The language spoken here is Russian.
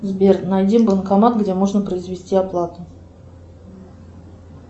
сбер найди банкомат где можно произвести оплату